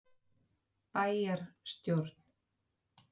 Sjá einnig: Barist um flugmiða til Frakklands- Hverjir fara með?